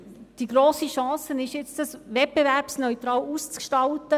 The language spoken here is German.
Die grosse Chance ist, dies nun wettbewerbsneutral auszugestalten.